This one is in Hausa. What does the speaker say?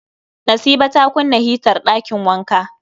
Nasiba ta kunna hitar ɗakin wanka